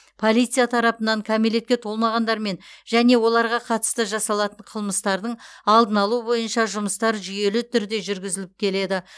полиция тарапынан кәмелетке толмағандармен және оларға қатысты жасалатын қылмыстардың алдын алу бойынша жұмыстар жүйелі түрде жүргізіліп келеді